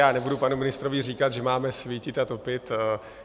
Já nebudu panu ministrovi říkat, že máme svítit a topit.